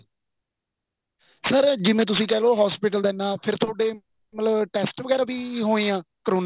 sir ਜਿਵੇਂ ਤੁਸੀਂ ਕਹਿਲੋ hospital ਦਾ ਐਨਾ ਫ਼ਿਰ ਤੁਹਾਡੇ ਮਤਲਬ test ਵਗੈਰਾ ਵੀ ਹੋਏ ਹਾਂ ਕਰੋਨਾ